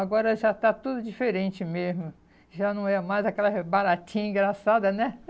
Agora já está tudo diferente mesmo, já não é mais aquelas baratinha engraçada, né?